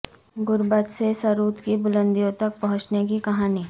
غربت سے ثروت کی بلندیوں تک پہنچنے کی کہانی